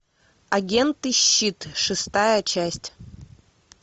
агенты щит шестая часть